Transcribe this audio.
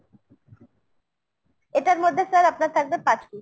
এটার মধ্যে sir আপনার থাকবে পাঁচ piece।